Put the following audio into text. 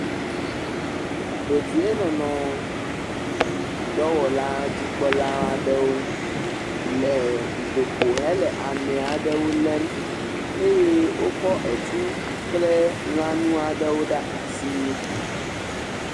Dedienɔnɔ dɔwɔlawo dzikpɔla aɖewo le dutoƒo hele ame aɖewo lém eye wokɔ etu kple lãnu aɖewo ɖe asi.